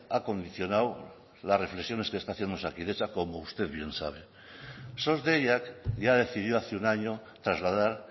ha condicionado las reflexiones que está haciendo osakidetza como usted bien sabe sos deiak ya decidió hace un año trasladar